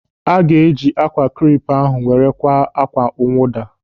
Aga eji ákwà krep ahụ were kwaa ákwá mwụda.